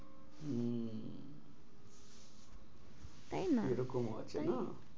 তাই না? এরকম ও আছে না?